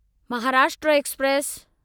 Maharashtra express